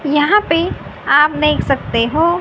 यहां पे आप देख सकते हो--